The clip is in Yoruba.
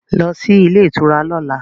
Go to the hotel tomorrow